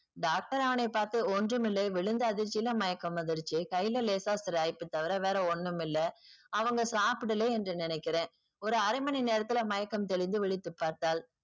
doctor அவனை பார்த்து ஒன்றுமில்லை விழுந்த அதிர்ச்சியில மயக்கம் வந்துருச்சு கைல லேசா சிராய்ப்பு தவிர வேற ஒண்ணுமில்ல அவங்க சாப்படல என்று நினைக்கிறேன் ஒரு அரை மணிநேரத்துல மயக்கம் தெளிஞ்சு விழித்துப்பார்த்தாள்.